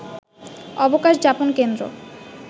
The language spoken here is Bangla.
অবকাশ যাপন কেন্দ্র